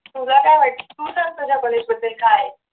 तुला काय वाटतं तू सांग तुझ्या कॉलेज बद्दल काय आहे?